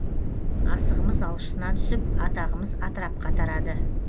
асығымыз алшысынан түсіп атағымыз атырапқа тарады